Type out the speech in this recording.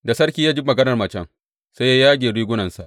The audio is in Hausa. Da sarki ya ji maganar macen sai ya yage rigunansa.